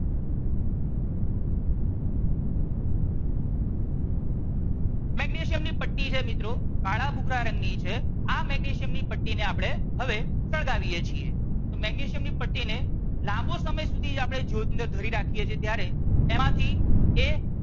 magnesium ની પટ્ટી છે મિત્રો કાળા ભૂખરા રંગ ની છે આ મેગ્નેશિયમ ની પટ્ટી ને હવે આપણે સળગાવીએ છીએ તો મેગ્નેશિયમ ની પટ્ટી ને લાંબો સમય સુધી જ્યોત ની અંદર ધરી રાખીએ છીએ ત્યારે એમાંથી એ